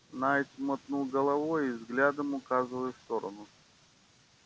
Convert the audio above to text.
найд мотнул головой взглядом указывая в сторону